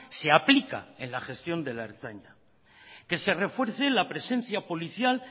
se aplica en la gestión de la ertzaina que se refuerce la presencia policial